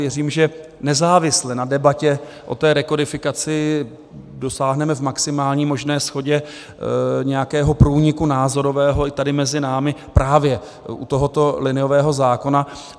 Věřím, že nezávisle na debatě o té rekodifikaci dosáhneme v maximální možné shodě nějakého průniku názorového i tady mezi námi právě u tohoto liniového zákona.